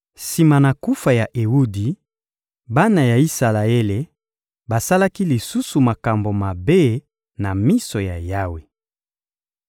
Sima na kufa ya Ewudi, bana ya Isalaele basalaki lisusu makambo mabe na miso ya Yawe.